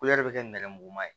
bɛ kɛ nɛrɛmuguma ye